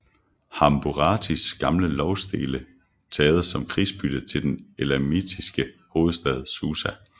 Hammurabis gamle lovstele taget som krigsbytte til den elamittiske hovedstad Susa